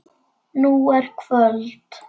Nú er kvöld.